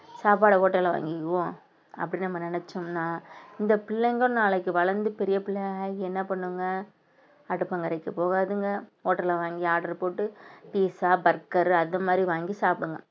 சாப்பாடை hotel ல வாங்கிக்குவோம் அப்படின்னு நம்ம நினைச்சோம்ன்னா இந்த பிள்ளைங்க நாளைக்கு வளர்ந்து பெரிய பிள்ளையாகி என்ன பண்ணுங்க அடுப்பங்கரைக்கு போகாதுங்க hotel ல வாங்கி order போட்டு பிஸ்சா பர்கரு அது மாதிரி வாங்கி சாப்பிடுங்க